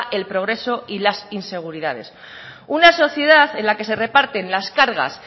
el progreso y las inseguridades una sociedad en la que se reparten las cargas